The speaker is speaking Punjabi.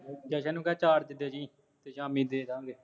ਜਸ਼ਨ ਨੂੰ ਕਹਿ ਚਾਰਜ ਦੇ ਜੀ, ਸ਼ਾਮੀ ਦੇ ਦਾਂ ਗੇ